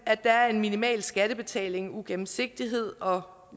at der en minimal skattebetaling ugennemsigtighed og